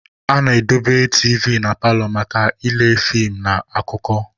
A na-edobe tiivi na paalọ maka ịle fiim na akụkọ.